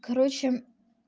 короче